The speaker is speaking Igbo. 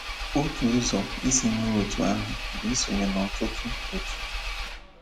Otu ụzọ isi mee otu ahụ bụ isonye n' ọtụtụ otu.